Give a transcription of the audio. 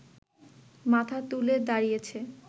মাথা তুলে দাঁড়িয়েছে